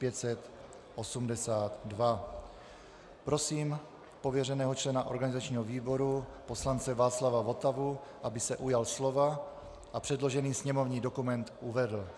Prosím pověřeného člena organizačního výboru poslance Václava Votavu, aby se ujal slova a předložený sněmovní dokument uvedl.